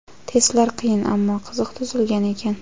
Testlar qiyin ammo qiziq tuzilgan ekan.